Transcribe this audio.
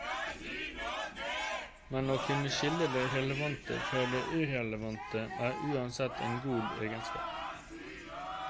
Men å kunne skille det relevante fra det irrelevante er uansett en god egenskap.